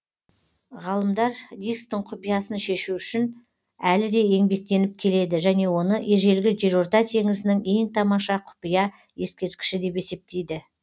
ғалымдар дисктің құпиясын шешу үшін әлі де еңбектеніп келеді және оны ежелгі жерорта теңізінің ең тамаша құпия ескерткіші деп есептейді